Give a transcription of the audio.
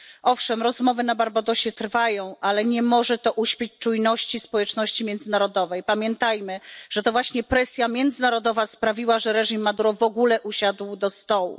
Owszem, rozmowy na Barbadosie trwają, ale nie może to uśpić czujności społeczności międzynarodowej. Pamiętajmy, że to właśnie presja międzynarodowa sprawiła, że reżim Maduro w ogóle usiadł do stołu.